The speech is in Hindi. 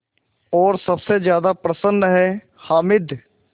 और सबसे ज़्यादा प्रसन्न है हामिद